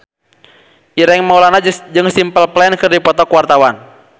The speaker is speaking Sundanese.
Ireng Maulana jeung Simple Plan keur dipoto ku wartawan